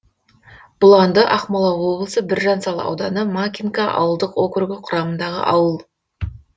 бұланды ақмола облысы біржан сал ауданы макинка ауылдық округі құрамындағы ауыл